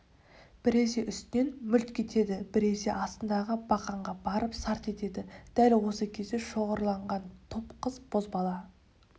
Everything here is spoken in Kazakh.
біресе үстінен мүлт кетеді біресе астындағы бақанға барып сарт етеді дәл осы кезде шоғырланған топ қыз-бозбала